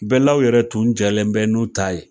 Bɛɛlaw yɛrɛ tun jɛnnen bɛ n'u ta ye.